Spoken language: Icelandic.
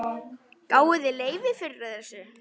Gáfuð þið leyfi fyrir þessu?